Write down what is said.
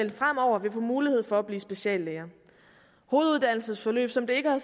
fremover vil få mulighed for at blive speciallæger hoveduddannelsesforløb som det ikke har